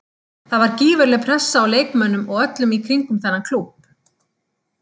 Það var gífurleg pressa á leikmönnum og öllum í kringum þennan klúbb.